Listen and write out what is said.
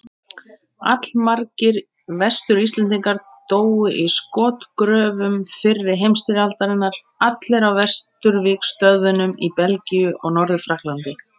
Allmargir Vestur-Íslendingar dóu í skotgröfum fyrri heimsstyrjaldarinnar, allir á vesturvígstöðvunum í Belgíu og Norður-Frakklandi.